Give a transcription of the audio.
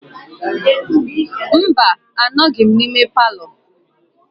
Mba, anọghịm na ime palọ.